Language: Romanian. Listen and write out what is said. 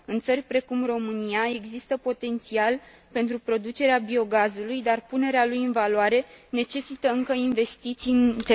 În țări precum România există potențial pentru producerea biogazului, dar punerea lui în valoare necesită, încă, investiții în tehnologie.